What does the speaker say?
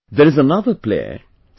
There is another player, C